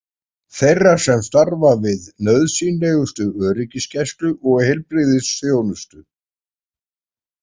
Þeirra sem starfa við nauðsynlegustu öryggisgæslu og heilbrigðisþjónustu.